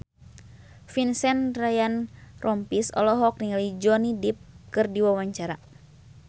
Vincent Ryan Rompies olohok ningali Johnny Depp keur diwawancara